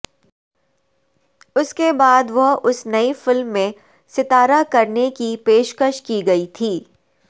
اس کے بعد وہ اس نئی فلم میں ستارہ کرنے کی پیشکش کی گئی تھی